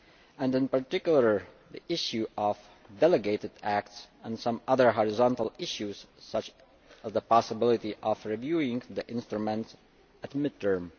and in particular the issue of delegated acts and some other horizontal issues such as the possibility of reviewing the instruments at mid term.